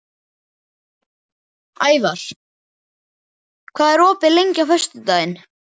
Ævar, hvað er opið lengi á föstudaginn?